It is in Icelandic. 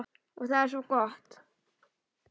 Og það er svo gott.